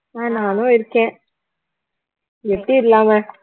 ஆஹ் நானும் இருக்கேன் எப்படி இல்லாம